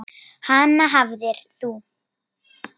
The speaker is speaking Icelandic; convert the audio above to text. Hana hafðir þú.